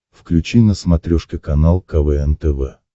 включи на смотрешке канал квн тв